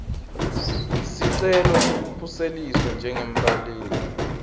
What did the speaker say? sicelo sekukhuseliswa njengembaleki